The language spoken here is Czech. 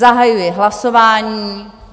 Zahajuji hlasování.